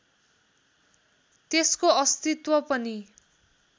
त्यसको अस्तित्व पनि